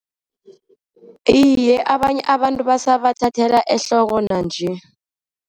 Iye, abanye abantu basabathathela ehloko nanje.